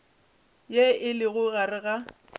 ye e lego gare ga